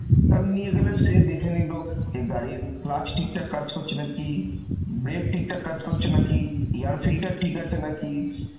তাহলে নিয়ে সে দেখে নিলো যে গাড়ির clutch ঠিক ঠাক কাজ করছে নাকি, brake ঠিক ঠাক কাজ করছে নাকি, air filter ঠিক আছে নাকি